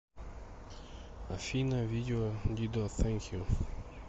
афина видео дидо сэнк ю